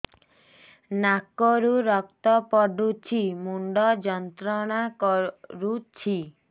ନାକ ରୁ ରକ୍ତ ପଡ଼ୁଛି ମୁଣ୍ଡ ଯନ୍ତ୍ରଣା କରୁଛି